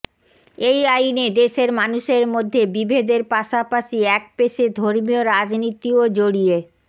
এই আইনে দেশের মানুষের মধ্যে বিভেদের পাশাপাশি একপেশে ধর্মীয় রাজনীতিও জড়িয়ে